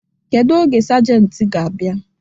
Kedu oge sajenti ga-abịa?